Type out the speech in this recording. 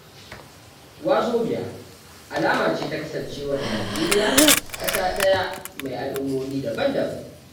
Wazobia alama ce ta kasancewar Nijeriya ƙasa ɗaya mai al'ummomi daban-daban.